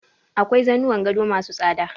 Akwai zanuwan gado ma su tsada.